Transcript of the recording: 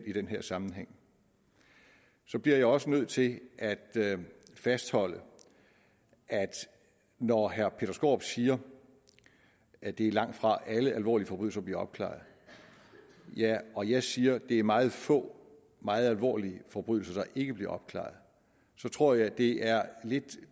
i den her sammenhæng så bliver jeg også nødt til at fastholde at når herre peter skaarup siger at det langtfra er alle alvorlige forbrydelser der bliver opklaret og jeg siger at det er meget få alvorlige forbrydelser der ikke bliver opklaret så tror jeg lidt det er